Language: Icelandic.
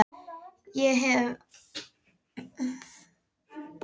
Ég hef þegar sagt þér það.